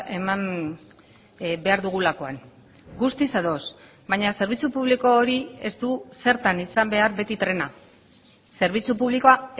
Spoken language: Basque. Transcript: eman behar dugulakoan guztiz ados baina zerbitzu publiko hori ez du zertan izan behar beti trena zerbitzu publikoa